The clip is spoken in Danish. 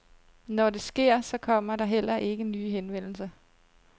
Når det sker, så kommer der heller ikke nye henvendelser.